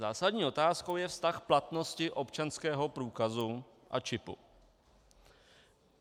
Zásadní otázkou je vztah platnosti občanského průkazu a čipu.